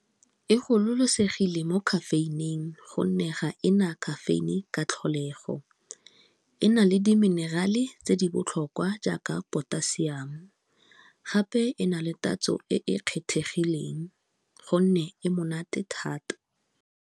E gololosegile mo caffeine-ing gonne ga ena caffeine-e ka tlholego, ena le di mineral-e tse di botlhokwa jaaka potassium, gape e na le tatso e e kgethegileng gonne e monate thata.